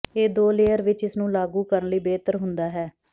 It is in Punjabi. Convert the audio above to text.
ਇਹ ਦੋ ਲੇਅਰ ਵਿੱਚ ਇਸ ਨੂੰ ਲਾਗੂ ਕਰਨ ਲਈ ਬਿਹਤਰ ਹੁੰਦਾ ਹੈ